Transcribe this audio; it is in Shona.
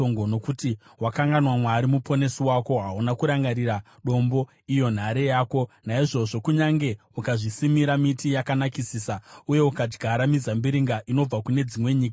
Nokuti wakanganwa Mwari Muponesi wako, hauna kurangarira Dombo, iyo nhare yako. Naizvozvo, kunyange ukazvisimira miti yakanakisisa, uye ukadyara mizambiringa inobva kune dzimwe nyika,